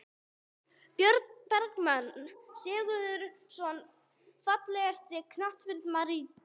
Björn Bergmann Sigurðarson Fallegasti knattspyrnumaðurinn í deildinni?